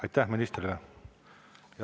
Aitäh ministrile!